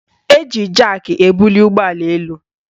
Eji jaki ebuli ụgbọala elu